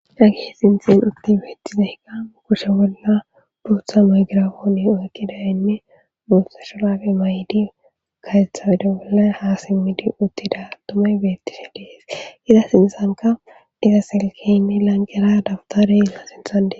Hagee sinththen uththi beethtizaykka kushe bolla booththa maygraapoone oykkidaynne booththa shuuraabe mayidi kareththa oyde bolla haa simmidi uththida aththumay beeththidi de7ees; iza sinththankka iza silkeenne lanqqera dabththaree a sinththan de7ees.